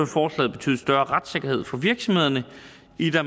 forslaget betyde større retssikkerhed for virksomhederne